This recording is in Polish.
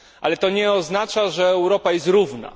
Ale to nie oznacza, że Europa jest równa.